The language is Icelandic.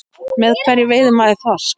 Með hverju veiðir maður þorsk?